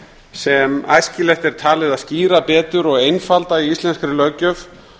sem æskilegt er talið að skýra betur og einfalda í íslenskri löggjöf